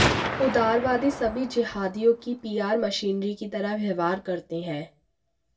उदारवादी सभी जिहादियों की पीआर मशीनरी की तरह व्यवहार करते हैं